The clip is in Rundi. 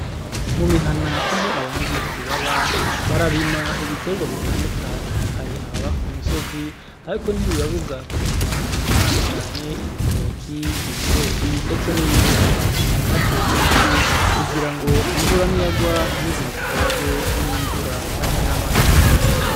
Mu mihana aho abanyagihugu baba, bararima ibitegwa bitandukanye. Hari ababa ku misozi, ariko ntibibabuza kurima ibitandukanye, ibitoke, ibigori, ndetse n’ibindi. Barahatera ibiti kugira ngo imvura niyagwa ntibize bitwarwe n’imvura canke n’amazi menshi.